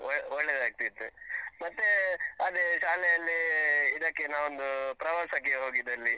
ಒಳ್ಳೆದಾಗ್ತಿತ್ತು. ಮತ್ತೇ, ಅದೇ ಶಾಲೆಯಲ್ಲಿ ಇದಕ್ಕೆ ನಾವೊಂದು ಪ್ರವಾಸಕ್ಕೆ ಹೋಗಿದಲ್ಲಿ.